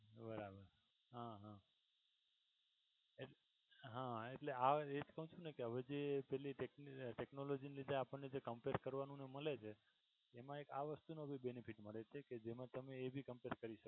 બરાબર હા હા, હા એટલે આવા response કે ને હવે જે technology ને લીધે આપણે એ જે compare કરવાનું જે મળે છે ને એમા એક આ વસ્તુ નો ભી benefit મળે છે કે જેમા તમે એ ભી compare કરી